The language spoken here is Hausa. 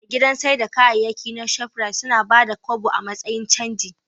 A gidan saida kayayyaki na shoprite, suna Bada kobo a matsayin canji